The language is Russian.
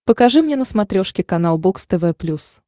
покажи мне на смотрешке канал бокс тв плюс